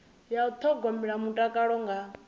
ya u thogomela mutakalo nga